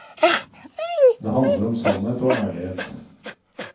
Det handler om sannhet og ærlighet.